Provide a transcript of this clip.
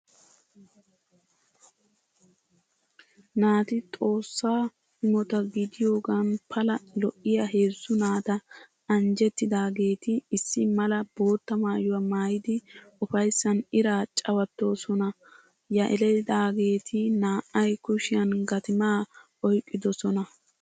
Naati Xoossa imota gidiyogan pala lo'iya heezzu naata anjjettidaageeti issi mala bootta maayuwa maayidi ufayssan iraa cawattoosona. Yelidaageeti naa"ay kushiyan gatimaa oyqqidosona.